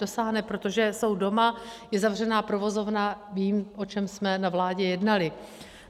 Dosáhne, protože jsou doma, je zavřená provozovna, vím, o čem jsme na vládě jednali.